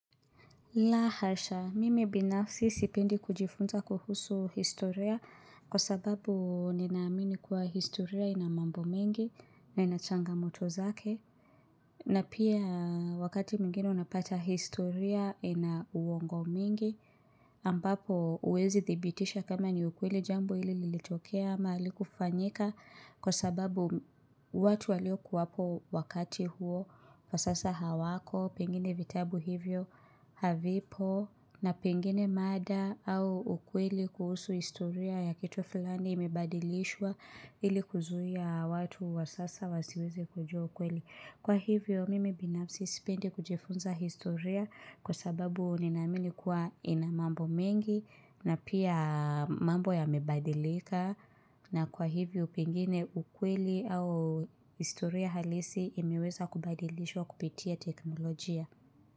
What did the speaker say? Lahasha, mimi binafsi sipendi kujifunza kuhusu historia kwa sababu ninaamini kuwa historia ina mambo mengi na ina changa moto zake. Na pia wakati mwingine unapata historia ina uongo mingi ambapo uwezi thibitisha kama ni ukweli jambo ili lilitokea ama halikufanyika kwa sababu watu walio kuwapo wakati huo kwa sasa hawako pengine vitabu hivyo havipo na pengine mada au ukweli kuhusu historia ya kitu fulani imebadilishwa ili kuzuhia watu wa sasa wasiweze kujua ukweli. Kwa hivyo mimi binafsi sipendi kujifunza historia kwa sababu ninaamini kuwa inamambo mengi na pia mambo ya mebadilika na kwa hivyo pengine ukweli au historia halisi imeweza kubadilishwa kupitia teknolojia.